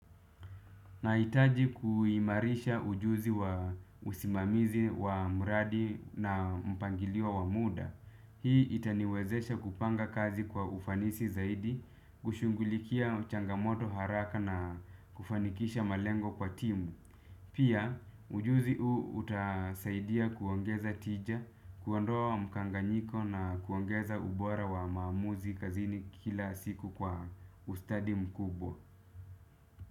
Nahitaji kuimarisha ujuzi wa usimamizi wa mradi na mpangilio wa muda. Hii itaniwezesha kupanga kazi kwa ufanisi zaidi, kushunghulikia changamoto haraka na kufanikisha malengo kwa timu. Pia, ujuzi huu utasaidia kuongeza tija, kuondoa mkanganyiko na kuongeza ubora wa maamuzi kazini kila siku kwa ustadi mkubwa.